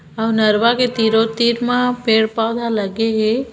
आउ नरवा के तीरो तीर मा पेड़ पोधा लगे हे।